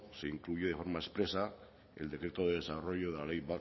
se incluye de forma expresa el decreto de desarrollo de la ley